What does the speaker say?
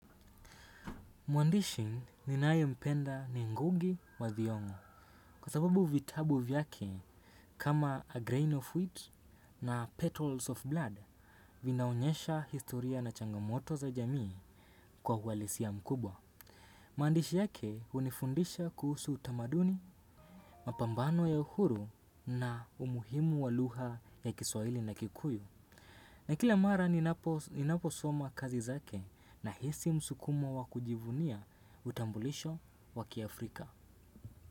Mwandishi ninayempenda ni Ngugi wa Thiong'o kwa sababu vitabu vyake kama A Grain of Wheat na Petals of Blood vinaonyesha historia na changamoto za jamii kwa uhalisia mkubwa. Maandishi yake hunifundisha kuhusu utamaduni, mapambano ya uhuru na umuhimu wa lugha ya kiswahili na kikuyu. Na kila mara ninapo ninaposoma kazi zake, nahisi msukumo wa kujivunia utambulisho wa kiafrika.